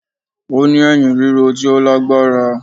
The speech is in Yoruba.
Ó ní èyìn ríro tí ó lágbára